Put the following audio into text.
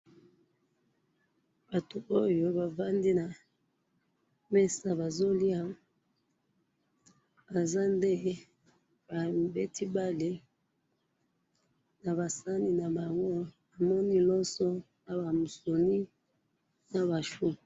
Batu oyo bavandi na mesa bazo lia, banza nde ba beti bale, naba sani na bango namoni loso na ba musuni, na ba choux